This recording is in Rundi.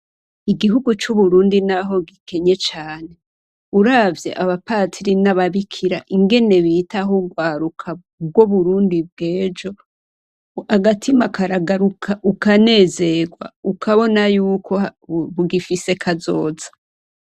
Igihugu c'uburundi naho gikenye cane uravye abapadiri nababikira ingene bitaho urwaruka rwuburundi bwejo agatima karagaruka ukanezerwa ukabona yuko rugifise kazoza.